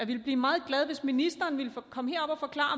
vil blive meget glad hvis ministeren vil komme herop og forklare